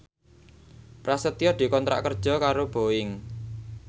Prasetyo dikontrak kerja karo Boeing